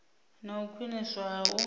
na u khwiniswa ha u